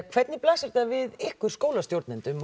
hvernig blasir þetta við ykkur skólastjórnendum